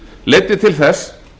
leiddi til þess